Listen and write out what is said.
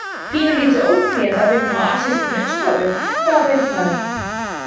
Pínulítið ólíkt mér að vinna á asískri nuddstofu, en hvað veit maður?